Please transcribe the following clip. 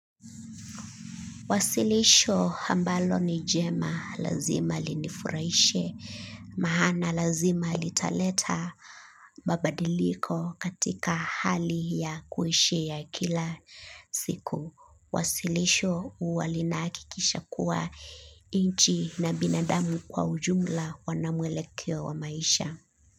Wasilisho ambalo ni jema lazima linifurahishe. Maana lazima litaleta mabadiliko katika hali ya kuishi ya kila siku. Wasilisho huwa linahakikisha kuwa nchi na binadamu kwa ujumla wana mwelekeo wa maisha.